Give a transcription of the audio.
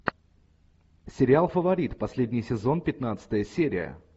сериал фаворит последний сезон пятнадцатая серия